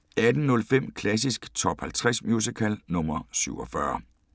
18:05: Klassisk Top 50 Musical – nr. 47